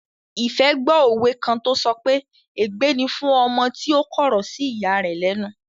Ìfẹ́ gbó òwe kan tó sọ pé "ègbé ni fún ọmọ tí ó kọ̀rọ̀ sí ìya rẹ̀ lẹ́nu"